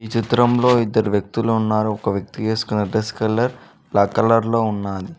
చిత్రంలో ఇద్దరు వ్యక్తులు ఉన్నారు ఒక వ్యక్తి వేసుకున్న డ్రెస్ కలర్ బ్లాక్ కలర్ లో ఉన్నాది.